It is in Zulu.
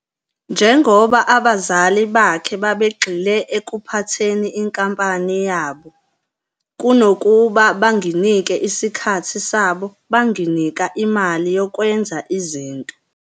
Njengoba abazali bakhe babegxile ekuphatheni inkampani yabo, kunokuba "banginike isikhathi sabo, banginika imali yokwenza izinto."